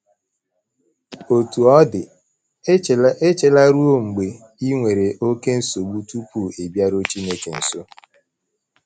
Otú ọ dị, echela ruo mgbe i nwere oké nsogbu tupu ị bịaruo Chineke nso.